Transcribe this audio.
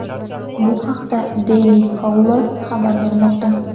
Bu haqda Daily Caller xabar bermoqda .